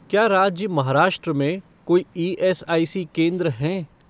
क्या राज्य महाराष्ट्र में कोई ईएसआईसी केंद्र हैं?